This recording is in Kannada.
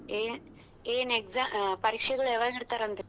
ಏನ್ exa~ ಪರೀಕ್ಷೆಗಳ್ ಯಾವಾಗ್ ನಡೀತಾರಂತೆ.